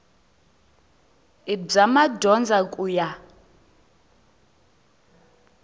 i bya madyondza ku ya